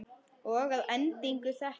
Og að endingu þetta.